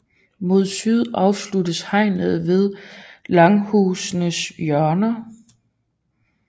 Mod syd afsluttes hegnet ved langhusenes hjørner